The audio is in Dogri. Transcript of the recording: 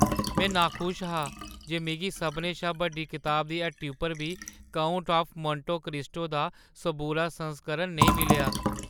में नाखुश हा जे मिगी सभनें शा बड्डी कताबें दी हट्टी उप्पर बी "काउंट ऑफ मोंटे क्रिस्टो" दा सबूरा संस्करण नेईं मिलेआ।